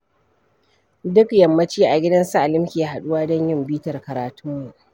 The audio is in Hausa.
Duk yammaci a gidan su Ali muke haɗuwa don yin bitar karatunmu.